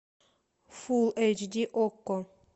фулл эйч ди окко